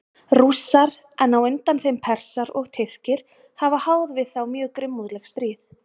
Rússar, en á undan þeim Persar og Tyrkir, hafa háð við þá mjög grimmúðleg stríð.